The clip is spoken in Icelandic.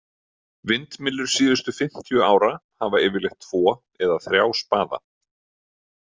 Vindmyllur síðustu fimmtíu ára hafa yfirleitt tvo eða þrjá spaða.